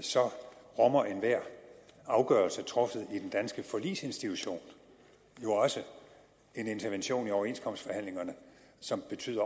så rummer enhver afgørelse truffet i den danske forligsinstitution jo også en intervention i overenskomstforhandlingerne som betyder